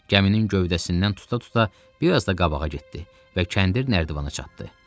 Gəminin gövdəsindən tuta-tuta biraz da qabağa getdi və kəndir nərdivana çatdı.